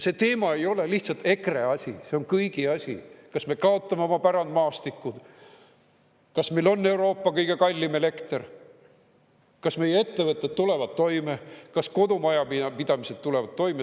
See teema ei ole lihtsalt EKRE asi, see on kõigi asi, kas me kaotame oma pärandmaastiku, kas meil on Euroopa kõige kallim elekter, kas meie ettevõtted tulevad toime, kas kodumajapidamised tulevad toime.